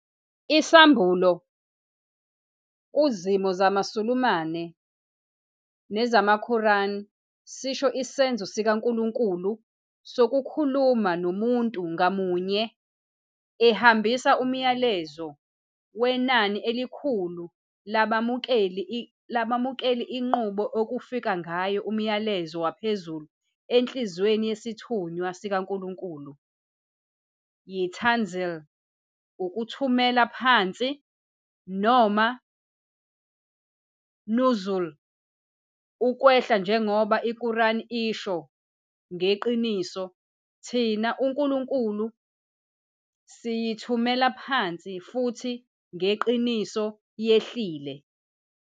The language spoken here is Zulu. Isambulo kuzimo zamaSulumane nezamaQuran sisho isenzo sikaNkulunkulu sokukhuluma nomuntu ngamunye, ehambisa umyalezo wenani elikhulu labamukeli. Inqubo okufika ngayo umyalezo waphezulu enhliziyweni yesithunywa sikaNkulunkulu yi- "tanzil", ukuthumela phansi, noma i- "nuzūl", ukwehla. Njengoba iQuran isho, "Ngeqiniso thina, uNkulunkulu, siyithumele phansi futhi ngeqiniso yehlile."